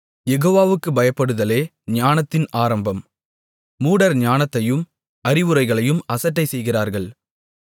யெகோவாவுக்குப் பயப்படுதலே ஞானத்தின் ஆரம்பம் மூடர் ஞானத்தையும் அறிவுரைகளையும் அசட்டை செய்கிறார்கள்